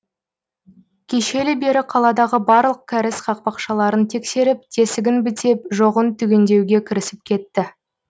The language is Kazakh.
кешелі бері қаладағы барлық кәріз қақпақшаларын тексеріп тесігін бітеп жоғын түгендеуге кірісіп кетті